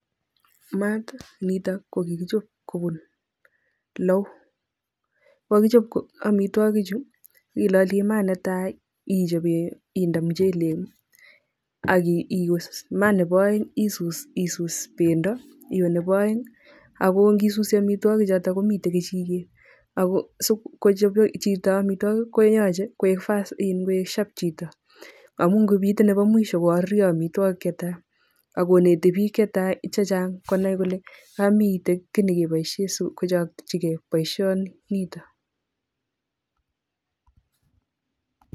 Maat nitok ko kikichob kobun lou, kokichop omitwokichu iloli maat netai ichobe indee muchelek ak iwee maa nebo oeng isus isus bendo, iwe Nebo oeng ak ngisusi amitwokichuton komiten kechiket ak ko sikochop chito amitwokik koyoche koik iin koik sharp chito amun ngomiten nebo mwisho ko kokoruryo omitwokik chetaa ak koneti biik chechang konai kole kaa miten kii nekeboishen sikochokyike boishoni niton.